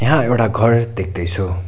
यहां एउटा घर देख्दै छु।